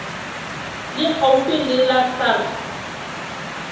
le haufi le la sars